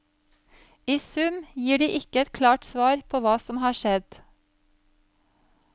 I sum gir de ikke et klart svar på hva som har skjedd.